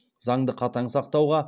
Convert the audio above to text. заңды қатаң сақтауға